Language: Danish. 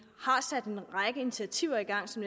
har sat en række initiativer i gang som